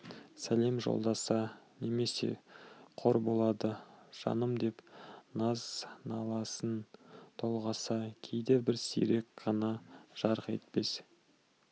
сәлем жолдаса немесе қор болды жаным деп наз-наласын толғаса кейде бір сирек қана жарқ етпес